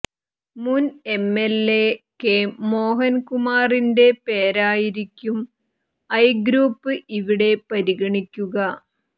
മുന് MLA K മോഹന്കുമാറിന്റെ പേരായിരിക്കും ഐ ഗ്രൂപ്പ് ഇവിടെ പരിഗണിക്കുക